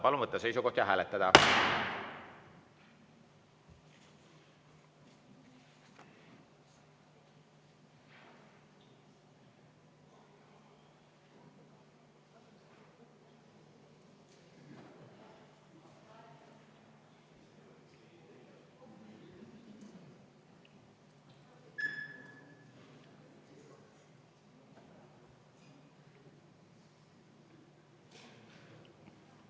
Palun võtta seisukoht ja hääletada!